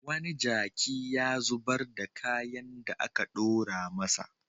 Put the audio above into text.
Wani jaki ya zubar da kayan da aka ɗora masa.